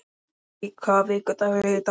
Millý, hvaða vikudagur er í dag?